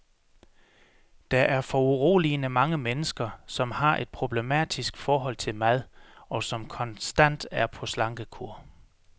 Der er foruroligende mange mennesker, som har et problematisk forhold til mad, og som konstant er på slankekur.